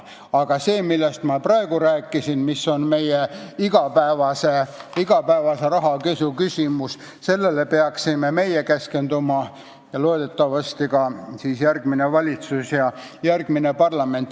Aga sellele, millest ma praegu rääkisin, mis on meie igapäevase rahapesuga võitluse küsimus, me peaksime keskenduma ning loodetavasti teevad seda ka järgmine valitsus ja järgmine parlament.